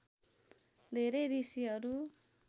धेरै ऋषिहरू